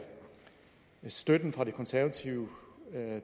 støtten fra de konservative